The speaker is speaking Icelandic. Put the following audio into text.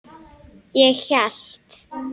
Ég hélt.